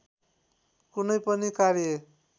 कुनै पनि कार्य